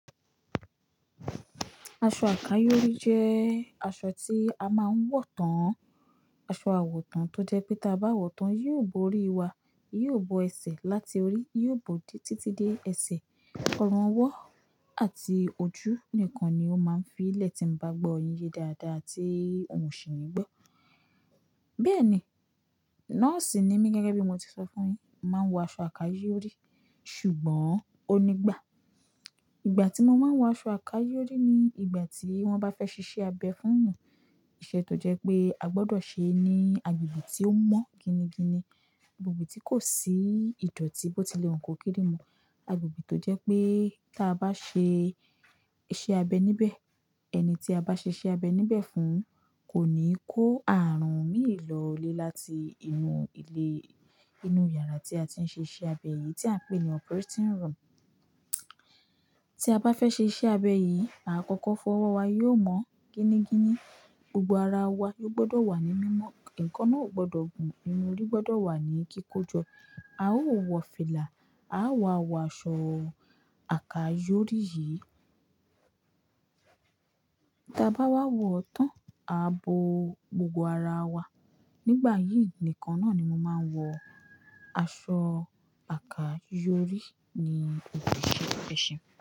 Aṣọ àkáyòrí jẹ́ aṣọ tí a máa ń wọ̀ tán, aṣọ àwọ̀ tán tó jẹ́ pé tí a bá wọ̀ tán yóò bó orí wa, yóò bó ẹsẹ̀ láti orí, yóò bó títí dé ẹsẹ̀. Ọrùn ọwọ́ àti ojú nìkan ni ó máa ń fi lẹ̀ tí ń bá gbọ́ oyín ye dáadáa tí òun kò sì ń gbọ́. Bẹ́ẹ̀ ni, nọ́ọ̀sì ni mí gẹ́gẹ́ bí mo ti sọ fún yín, máa ń wọ aṣọ àkáyòrí ṣùgbọ́n onígbà. Ìgbà tí mo máa ń wọ aṣọ àkáyòrí ni ìgbà tí wọ́n bá fẹ́ ṣiṣẹ́ abẹ fún ẹni, iṣẹ́ tó jẹ́ pé a gbọdọ̀ ṣe ní agbègbè tí ó mọ́ gini-gini, agbègbè tí kò sí ìdọ̀tí bó tilẹ̀ wọ́n kó kíri mọ́, agbègbè tó jẹ́ pé tí a bá ṣe iṣẹ́ abẹ níbẹ̀, ẹni tí a bá ṣe iṣẹ́ abẹ níbẹ̀ fún kò ní kó àrùn míì lọlé láti inú ilé, inú yàrá tí a ti ń ṣe iṣẹ́ abẹ yìí tí à ń pè ní operating room. Tí a bá fẹ́ ṣe iṣẹ́ abẹ yìí, àkọ́kọ́ fọwọ́ wa yóò mọ́ gini-gini, gbogbo ara wa yóò gbọdọ̀ wà ní mímọ́, nǹkan náà ò gbọdọ̀ gùn, inú orí gbọdọ̀ wà ní kíkójọ, a ó wọ fìlà, a á wọ aṣọ àkáyòrí yìí. Tí a bá wá wọ̀ tán, a bó gbogbo ara wa. Nígbà yìí nìkan náà ni mo máa ń wọ aṣọ àkáyòrí ní òkè ṣe ẹ̀ṣẹ̀.